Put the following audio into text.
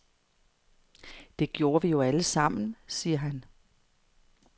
Det gjorde vi jo allesammen, siger han.